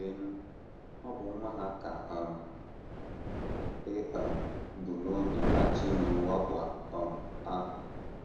Leenụ, ọ bụ nwa ha ka um e um bu n’obi na - achọ ime mwakpo um ahụ!